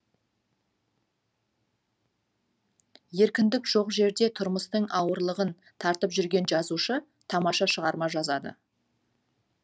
еркіндік жоқ жерде тұрмыстың ауырлығын тартып жүрген жазушы тамаша шығарма жазады